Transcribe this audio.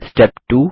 step 2